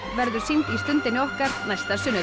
verður sýnd í Stundinni okkar næsta sunnudag